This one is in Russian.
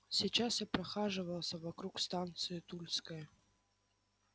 сейчас я прохаживался вокруг станции тульская